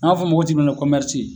An b'a fɔ o ma ko